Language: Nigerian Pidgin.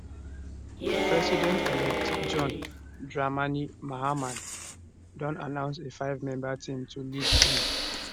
presidentelect john dramani mahama don announce a fivemember team to lead im